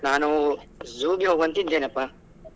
ನಾನು zoo ಗೆ ಹೋಗುವಂತಿದ್ದೇನಪ್ಪ.